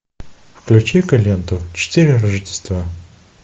включи ка ленту четыре рождества